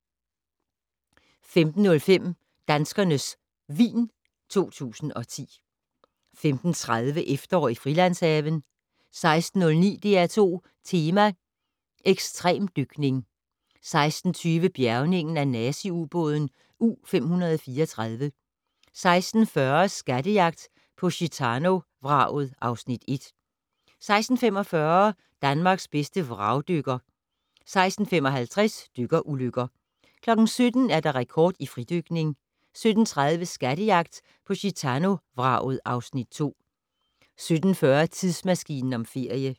15:05: Danskernes vin 2010 15:30: Efterår i Frilandshaven 16:09: DR2 Tema: Ekstremdykning 16:20: Bjærgningen af nazi-ubåden U534 16:40: Skattejagt på Gitano-vraget (Afs. 1) 16:45: Danmarks bedste vragdykker 16:55: Dykkerulykker 17:00: Rekord i fridykning 17:30: Skattejagt på Gitano-vraget (Afs. 2) 17:40: Tidsmaskinen om ferie